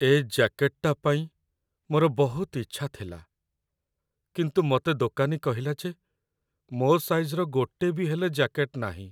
ଏ ଜ୍ୟାକେଟଟା ପାଇଁ ମୋର ବହୁତ ଇଚ୍ଛା ଥିଲା, କିନ୍ତୁ ମତେ ଦୋକାନୀ କହିଲା ଯେ ମୋ ସାଇଜ୍‌ର ଗୋଟେ ବି ହେଲେ ଜ୍ୟାକେଟ ନାହିଁ ।